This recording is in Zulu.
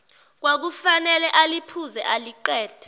kwakufanele aliphuze aliqede